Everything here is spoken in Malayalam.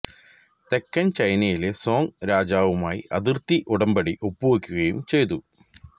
തെക്കൻ ചൈനയിലെ സോങ് രാജാവുമായി അതിർത്തി ഉടമ്പടി ഒപ്പുവയ്ക്കുകയും ചെയ്തു